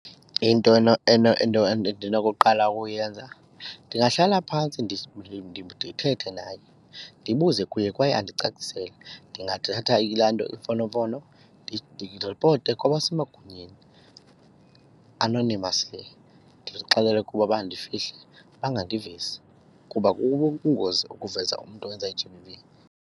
Into endinokuqala ukuyenza ndingahlala phantsi ndithethe naye ndibuze kuye kwaye andicacisele. Ndingathatha ilaa nto, imfonomfono ndiripote kwabasemagunyeni anonymously ndibaxelele ukuba bandifihle bangandivezi kuba kubungozi ukuveza umntu owenza i-G_B_V.